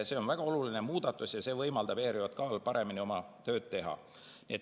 See on väga oluline muudatus ja see võimaldab ERJK‑l paremini oma tööd teha.